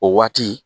O waati